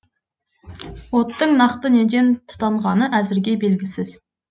оттың нақты неден тұтанғаны әзірге белгісіз